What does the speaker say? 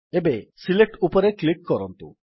ଏବେ ସିଲେକ୍ଟ ଉପରେ କ୍ଲିକ୍ କରନ୍ତୁ